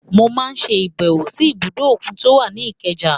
Mọ máa ṣe ìbẹ̀wò sí ibùdó òkun tí ó wà ní Ikeja.